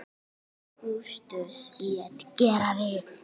Ágústus lét gera við